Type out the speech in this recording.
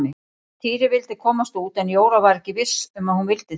Týri vildi komast út en Jóra var ekki viss um að hún vildi það.